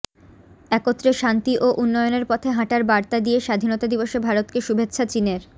একত্রে শান্তি ও উন্নয়নের পথে হাঁটার বার্তা দিয়ে স্বাধীনতা দিবসে ভারতকে শুভেচ্ছা চিনের